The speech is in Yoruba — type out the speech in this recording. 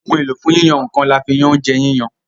Ohun èlò fún yíyan nǹkan, là fí yán oúnjẹ yíyan.